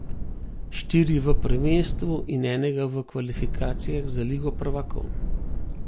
Štiri v prvenstvu in enega v kvalifikacijah za ligo prvakov.